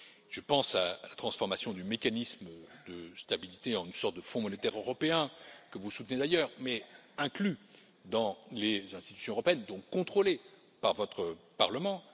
Je pense à la transformation du mécanisme de stabilité en une sorte de fonds monétaire européen, que vous soutenez d'ailleurs, mais inclus dans les institutions européennes, donc contrôlé par votre Parlement.